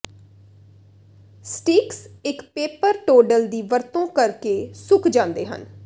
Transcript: sticks ਇੱਕ paper towel ਦੀ ਵਰਤੋਂ ਕਰਕੇ ਸੁੱਕ ਜਾਂਦੇ ਹਨ